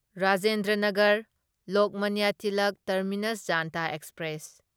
Rajendra Nagar Lokmanya Tilak terminus Janta express